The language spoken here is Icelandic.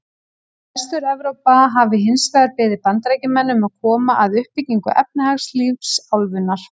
Vestur-Evrópa hafi hins vegar beðið Bandaríkjamenn um að koma að uppbyggingu efnahagslífs álfunnar.